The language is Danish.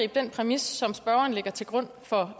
den præmis som spørgeren lægger til grund for